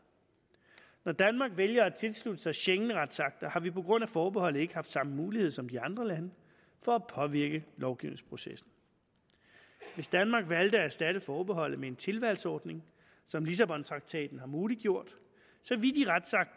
når danmark vælger at tilslutte sig schengenretsakter har vi på grund af forbeholdet ikke haft samme mulighed som de andre lande for at påvirke lovgivningsprocessen hvis danmark valgte at erstatte forbeholdet med en tilvalgsordning som lissabontraktaten har muliggjort